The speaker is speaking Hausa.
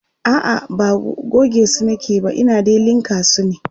a'a ba gogesu nake ba Ina dai linka su ne